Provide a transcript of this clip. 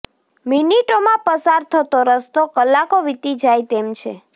મિનિટોમાં પસાર થતો રસ્તો કલાકો વીતી જાય તેમ છે